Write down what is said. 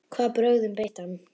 Hvaða brögðum beitti hann?